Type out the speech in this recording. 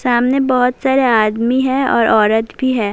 سامنے بہت سارے آدم بھی ہے، اور عورت بھی ہے-